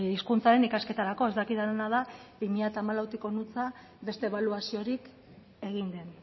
hizkuntzaren ikasketarako ez dakidana da bi mila hamalautik honantz beste ebaluaziorik egin den